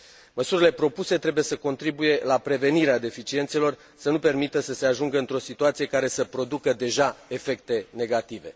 Măsurile propuse trebuie să contribuie la prevenirea deficiențelor, să nu permită să se ajungă într o situație care să producă deja efecte negative.